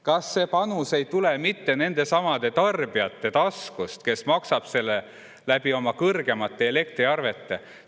Kas see panus ei tule mitte nendesamade tarbijate taskust, kes maksavad seda oma kõrgemate elektriarvete näol?